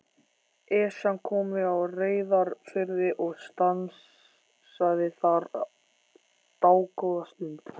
Esjan kom við á Reyðarfirði og stansaði þar dágóða stund.